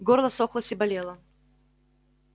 горло ссохлось и болело